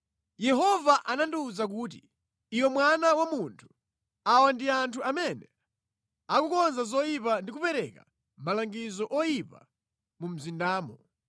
Yehova anandiwuza kuti, “Iwe mwana wa munthu, awa ndi anthu amene akukonza zoyipa ndi kupereka malangizo oyipa mu mzindamo.